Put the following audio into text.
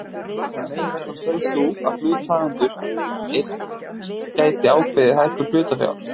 var meginreglan sögð sú að hluthafafundur einn gæti ákveðið hækkun hlutafjár.